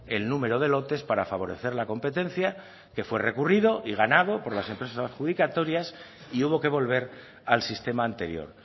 el número de lotes para favorecer la competencia que fue recurrido y ganado por las empresas adjudicatorias y hubo que volver al sistema anterior